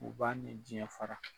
U b'a ni jiɲɛ fara.